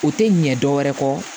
U tɛ ɲɛ dɔwɛrɛ kɔ